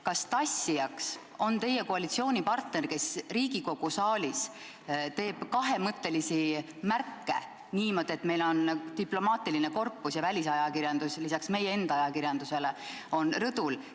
Kas tassija on teie koalitsioonipartner, kes Riigikogu saalis teeb kahemõttelisi märke, kui diplomaatiline korpus ja välisajakirjanikud peale meie enda ajakirjanike rõdul on?